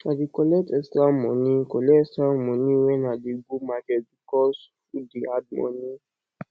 i dey collect extra moni collect extra moni wen i dey go market because food dey add moni